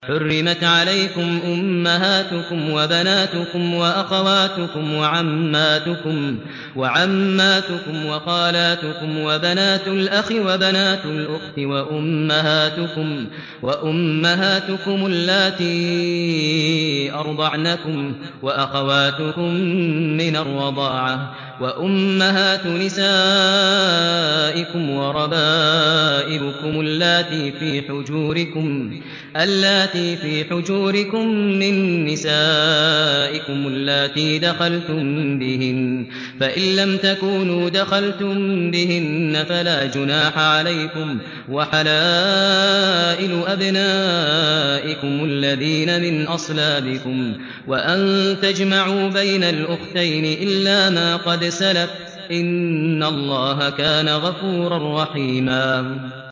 حُرِّمَتْ عَلَيْكُمْ أُمَّهَاتُكُمْ وَبَنَاتُكُمْ وَأَخَوَاتُكُمْ وَعَمَّاتُكُمْ وَخَالَاتُكُمْ وَبَنَاتُ الْأَخِ وَبَنَاتُ الْأُخْتِ وَأُمَّهَاتُكُمُ اللَّاتِي أَرْضَعْنَكُمْ وَأَخَوَاتُكُم مِّنَ الرَّضَاعَةِ وَأُمَّهَاتُ نِسَائِكُمْ وَرَبَائِبُكُمُ اللَّاتِي فِي حُجُورِكُم مِّن نِّسَائِكُمُ اللَّاتِي دَخَلْتُم بِهِنَّ فَإِن لَّمْ تَكُونُوا دَخَلْتُم بِهِنَّ فَلَا جُنَاحَ عَلَيْكُمْ وَحَلَائِلُ أَبْنَائِكُمُ الَّذِينَ مِنْ أَصْلَابِكُمْ وَأَن تَجْمَعُوا بَيْنَ الْأُخْتَيْنِ إِلَّا مَا قَدْ سَلَفَ ۗ إِنَّ اللَّهَ كَانَ غَفُورًا رَّحِيمًا